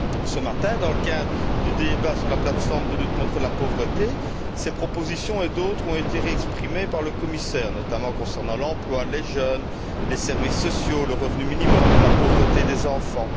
Ce matin, dans le cadre du débat sur la plateforme de lutte contre la pauvreté, ces propositions et d'autres ont été réexprimées par le commissaire, notamment concernant l'emploi, les jeunes, les services sociaux, le revenu minimum, la pauvreté des enfants.